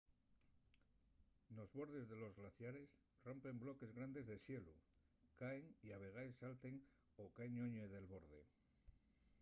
nos bordes de los glaciares rompen bloques grandes de xelu caen y a vegaes salten o caen lloñe del borde